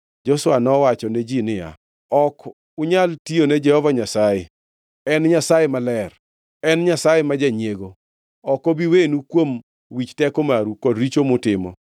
Joshua nowachone ji niya, “Ok unyal tiyone Jehova Nyasaye. En Nyasaye maler, en Nyasaye ma janyiego. Ok obi wenu kuom wich teko maru kod richo mutimo.